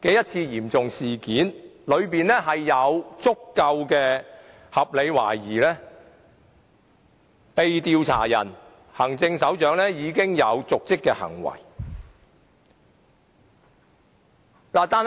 的嚴重事件，當中有足夠的合理懷疑被調查的行政長官有瀆職行為。